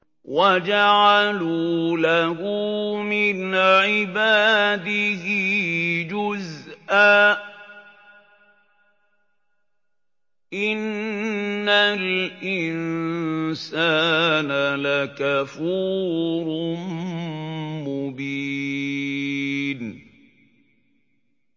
وَجَعَلُوا لَهُ مِنْ عِبَادِهِ جُزْءًا ۚ إِنَّ الْإِنسَانَ لَكَفُورٌ مُّبِينٌ